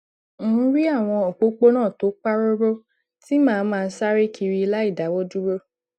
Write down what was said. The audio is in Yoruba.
ń rí àwọn òpópónà tó pa róró tí màá máa sáré kiri láìdáwó dúró